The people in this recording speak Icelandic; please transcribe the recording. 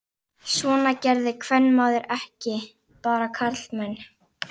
Svona gerði kvenmaður ekki, bara karlmenn.